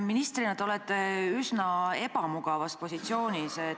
Ministrina olete te üsna ebamugavas positsioonis.